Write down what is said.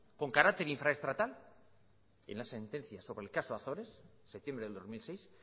con carácter infraestatal en la sentencia sobre el caso azores septiembre del dos mil seis